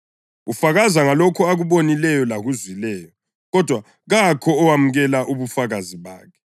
Ufakaza ngalokho akubonileyo lakuzwileyo, kodwa kakho owamukela ubufakazi bakhe.